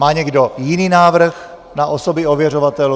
Má někdo jiný návrh na osoby ověřovatelů?